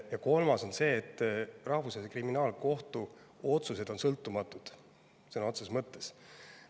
Ja kolmandaks, Rahvusvahelise Kriminaalkohtu otsused on sõltumatud sõna otseses mõttes.